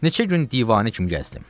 Neçə gün divanə kimi gəzdim.